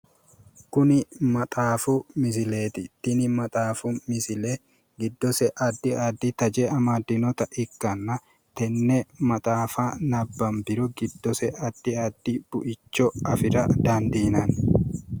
Kuni maxaafu misileeti tini maxxafu misile giddose addi addi taje amaddinota ikkanna, tenne maxaafa nabbanbiro giddose addi addi buicho afira dandiinanni.